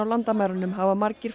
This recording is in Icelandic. landamærunum hafa margir